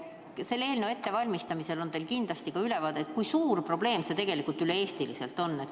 Selle eelnõu ettevalmistamisel on teil kindlasti tekkinud ka ülevaade, kui suur probleem see tegelikult üle Eesti on.